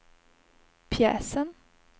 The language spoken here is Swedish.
pjäsen